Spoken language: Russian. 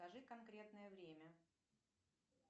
скажи конкретное время